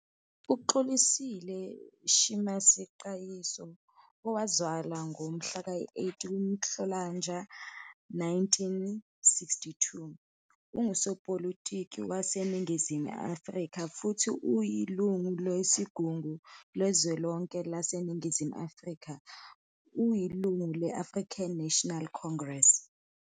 UXolisile Shinars Qayiso, owazalwa ngomhlaka 8 kuNhlolanja 1962, ungusopolitiki waseNingizimu Afrika futhi uyilungu lesiGungu Sikazwelonke saseNingizimu Afrika. Uyilungu le- African National Congress.